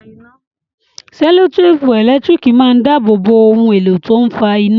Sẹ́lòtèpù ẹ̀lẹ́tírìkì máa ń dábòo bo ohun èlò tó ń fa iná.